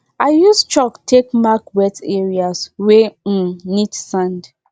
i use chalk take mark wet areas wey um need sand